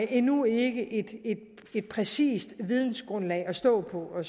endnu ikke et præcist videngrundlag at stå på og